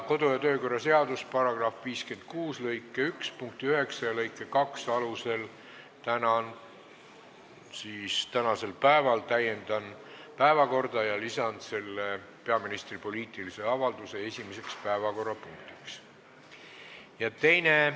Kodu- ja töökorra seaduse § 56 lõike 1 punkti 9 ja lõike 2 alusel täiendan tänast päevakorda ja lisan sellesse peaministri poliitilise avalduse esimese päevakorrapunktina.